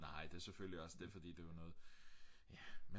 nej det er selvfølgelig også det fordi det er jo noget ja